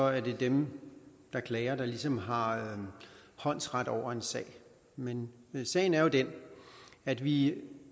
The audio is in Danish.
at det er dem der klager der ligesom har håndsret over en sag men sagen er jo den at vi